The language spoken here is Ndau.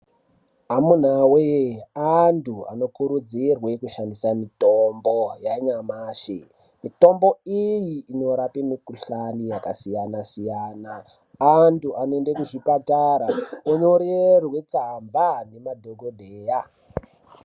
Amunawee antu anokurudzirwe kushandisa mitombo yanyamashi. Mitombo iyi inorape mikhuhlani yakasiyana-siyana. Antu anoende kuzvipatara onyorerwe tsamba ngemadhokodheya.